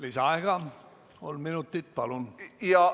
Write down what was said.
Lisaaega kolm minutit, palun!